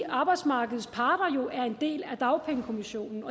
arbejdsmarkedets parter jo er en del af dagpengekommissionen